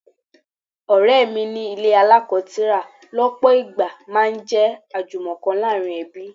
Ọ̀rẹ́ mi ní ilé alako tira lọpọ ìgbà máa ń jẹ́ ajumoko láàárín ẹbí.